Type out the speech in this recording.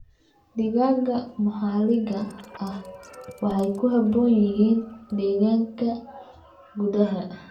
Digaagga maxalliga ah waxay ku habboon yihiin deegaanka gudaha.